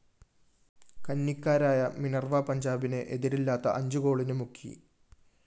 കന്നിക്കാരായ Minerva പഞ്ചാബിനെ എതിരില്ലാത്ത അഞ്ചു ഗോളിന് മുക്കി